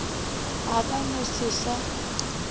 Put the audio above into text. a ka no se sa